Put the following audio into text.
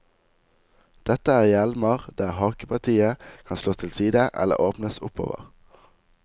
Dette er hjelmer der hakepartiet kan slås til side eller åpnes oppover.